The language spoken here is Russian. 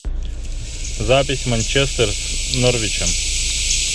запись манчестер с норвичем